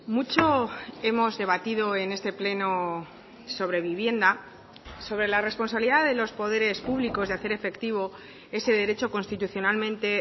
mucho hemos debatido en este pleno sobre vivienda sobre la responsabilidad de los poderes públicos de hacer efectivo ese derecho constitucionalmente